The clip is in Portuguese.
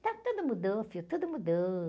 Então, tudo mudou, filho, tudo mudou.